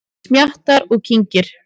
Smjattar og kyngir.